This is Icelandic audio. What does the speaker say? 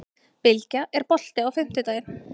Bylgja, er bolti á fimmtudaginn?